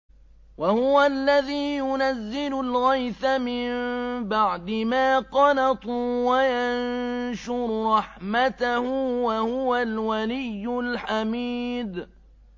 وَهُوَ الَّذِي يُنَزِّلُ الْغَيْثَ مِن بَعْدِ مَا قَنَطُوا وَيَنشُرُ رَحْمَتَهُ ۚ وَهُوَ الْوَلِيُّ الْحَمِيدُ